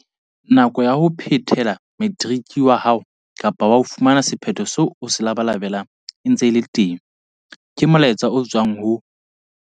Nako ya hore o ka phethela materiki wa hao kapa wa fumana sephetho seo o se labalabelang e ntse e le teng, ke molaetsa o tswang ho